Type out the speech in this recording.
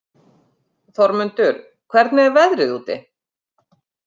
Þormundur, hvernig er veðrið úti?